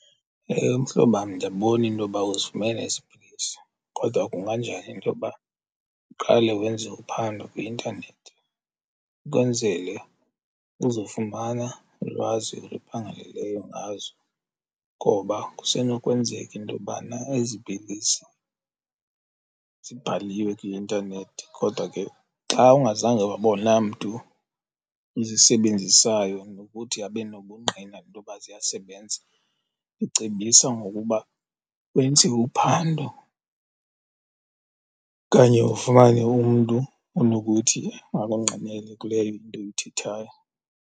Ewe, mhlobam, ndiyabona intoba uzifumene ezi pilisi kodwa kunganjani intoba uqale wenze uphando kwi-intanethi ukwenzele uzofumana ulwazi oluphangaleleyo ngazo? Ngoba kusenokwenzeka intobana ezi pilisi zibhaliwe kwi-intanethi. Kodwa ke xa ungazange wabona mntu uzisebenzisayo nokuthi abe nobungqina intoba ziyasebenza, ndicebisa ngokuba wenze uphando okanye ufumane umntu onokuthi akungqinele kuleyo into uyithethayo.